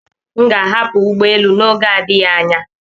M ga-ahapụ ụgbọ elu n'oge adịghị anya.